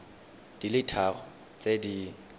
di le tharo tse di